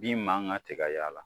Bin man ka se ka y'a la